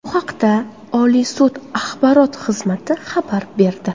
Bu haqda Oliy sud Axborot xizmati xabar berdi .